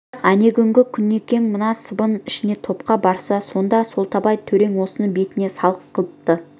бірақ әнеугүні құнекең мына сыбан ішіне топқа барса сонда солтабай төре осыны бетіне салық қыпты